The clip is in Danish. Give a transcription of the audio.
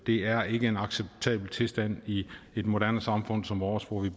er ikke en acceptabel tilstand i et moderne samfund som vores hvor